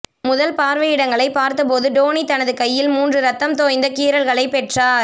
முதல் பார்வையிடங்களைப் பார்த்தபோது டோனி தனது கையில் மூன்று இரத்தம் தோய்ந்த கீறல்களைப் பெற்றார்